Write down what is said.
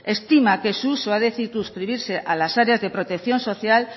estima que su uso ha de circunscribirse a las áreas de protección social